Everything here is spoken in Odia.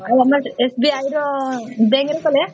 ଆଉ ଆମର SBI ର ବ୍ୟାଙ୍କ ରେ କଲେ